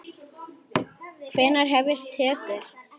Hvenær hefjast tökur?